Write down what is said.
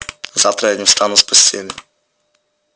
завтра я не встану с постели